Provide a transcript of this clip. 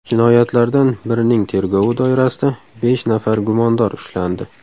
Jinoyatlardan birining tergovi doirasida besh nafar gumondor ushlandi.